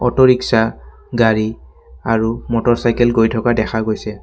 Autorickshaw গাড়ী আৰু motor cycle গৈ থকা দেখা গৈছে।